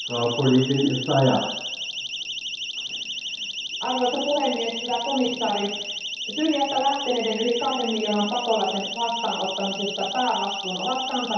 Arvoisa puhemies, hyvä komissaari, Syyriasta lähteneiden yli kahden miljoonan pakolaisen vastaanottamisesta päävastuun ovat kantaneet naapurimaat Jordania, Libanon ja Turkki.